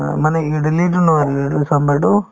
অ, মানে ইদলিতো নহয় যিটো চাম্ভাৰটো